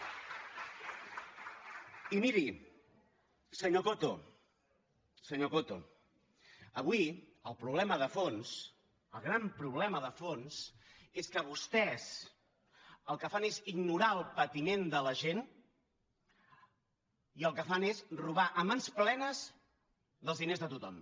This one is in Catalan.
i miri senyor coto senyor coto avui el problema de fons el gran problema de fons és que vostès el que fan és ignorar el patiment de la gent i el que fan és robar a mans plenes dels diners de tothom